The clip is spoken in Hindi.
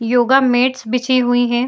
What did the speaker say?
योगा मैट्स बिछे हुयी हैं।